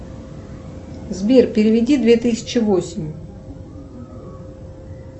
сбер переведи две тысячи восемь